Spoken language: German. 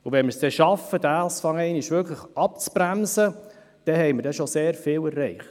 Wenn wir es schaffen, das abzubremsen, dann haben wir schon sehr viel erreicht.